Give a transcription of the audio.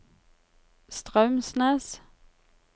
Straumsnes